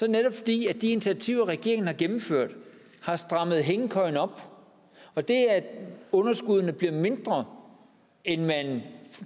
netop fordi de initiativer regeringen har gennemført har strammet hængekøjen op og det at underskuddene bliver mindre end man